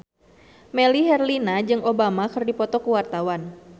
Melly Herlina jeung Obama keur dipoto ku wartawan